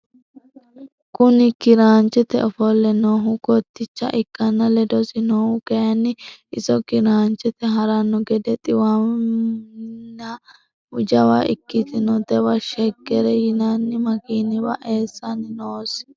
Kuni kiranchete ofolle noohu kotticha ikkanna ledosi noohu kayini iso kiranchete haranno gede xiiwanninna jawa ikkitinnotewa sheger yinay makiniwa eessanni noosi.